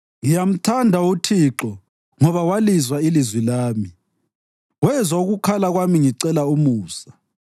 Ngiyamthanda uThixo ngoba walizwa ilizwi lami; wezwa ukukhala kwami ngicela umusa.